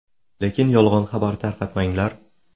Lekin yolg‘on xabar tarqatmanglar.